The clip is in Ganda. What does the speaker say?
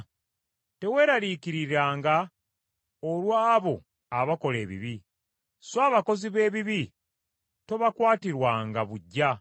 Teweeraliikiriranga olw’abo abakola ebibi, so abakozi b’ebibi tobakwatirwanga buggya.